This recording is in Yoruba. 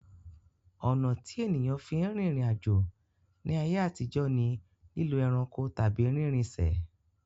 Ọ̀nà tí ènìyàn fi ń rìnrìn àjò ní ayé àtijó ni lílo ẹranko tàbí rínrrinṣẹ̀